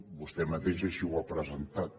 vostè mateix així ho ha presentat